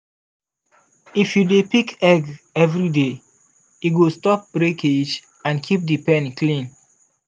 if you dey pick egg every day e go stop breakage and keep the pen clean.